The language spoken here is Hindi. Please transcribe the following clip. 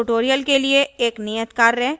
इस tutorial के लिए एक नियत कार्य